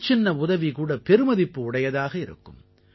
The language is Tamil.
சின்னசின்ன உதவிகூட பெருமதிப்பு உடையதாக இருக்கும்